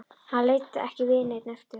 Hann leit ekki við henni eftir það.